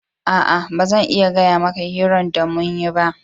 Aa, ba zan iya gaya maka hiran da mun yi ba.